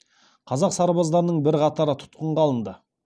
қазақ сарбаздарының бірқатары тұтқынға алынды